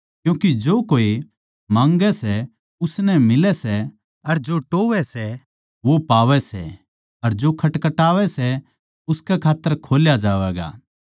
क्यूँके जो कोए माँगै सै उसनै मिलै सै अर जो टोह्वैं सै वो पावै सै अर खटखटावै सै उसकै खात्तर खोल्या जावैगा